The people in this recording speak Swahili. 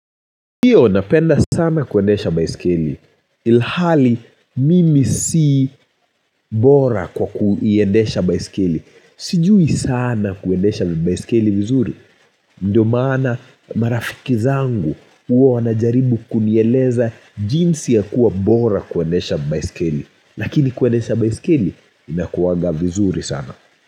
Ndiyo, napenda sana kuendesha baiskeli. Ilhali, mimi si bora kwa kuiendesha baiskeli. Sijui sana kuendesha baiskeli vizuri. Ndiyo maana marafiki zangu huwa wanajaribu kunieleza jinsi ya kuwa bora kuendesha baiskeli. Lakini kuendesha baiskeli, inakuwaga vizuri sana.